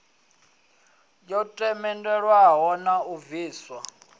yo themendelwaho na u bviswa